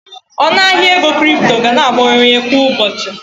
Ọnụ ahịa ego kripto ga na-abawanye kwa ụbọchị